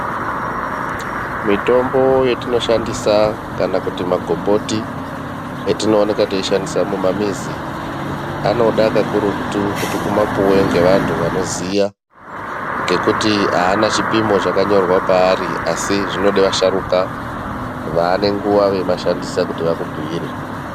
Mitombo yetinoshandisa kana kuti magomboti etinowoneka teyishandisa mumamizi, anoda kakurutu kuti umapiwe ngevantu vanoziya ngekuti ana chipimo chakanyorwa pari asi, zvinode vasharuka vanenguwa vemashandisa kuti vakubuyire.